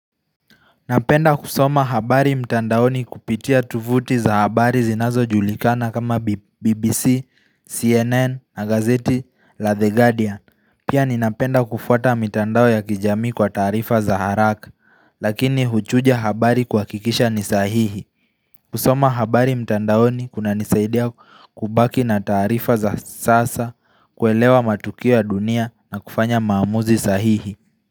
Napenda kusoma habari mtandaoni kupitia tuvuti za habari zinazojulikana kama BBC, CNN na gazeti la The Guardian. Pia ninapenda kufuata mitandao ya kijamii kwa taarifa za haraka lakini huchunja habari kuhakikisha ni sahihi. Kusoma habari mtandaoni kunanisaidia kubaki na taarifa za sasa, kuelewa matukio ya dunia na kufanya maamuzi sahihi.